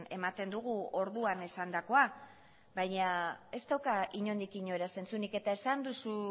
ematen dugu orduan esandakoa baina ez dauka inondik inora zentzurik eta esan duzu